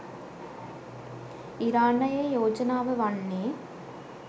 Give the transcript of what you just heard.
ඉරානයේ යෝජනාව වන්නේ